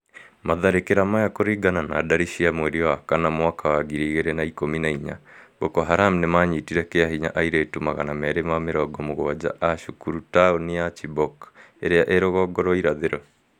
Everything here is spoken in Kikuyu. Matharĩkĩra maya kũringana na ndari cia mweri wa kana mwaka wa ngiri igĩri na ikũmi na inya, Boko Haram nĩmanyitire kĩa hinya airĩtu magana merĩ ma mĩrongo mũgwanja a cukuru tauni-inĩ ya Chibok ĩrĩa ĩ rũgongo rwa irathĩro